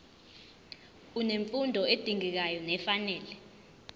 unemfundo edingekayo nefanele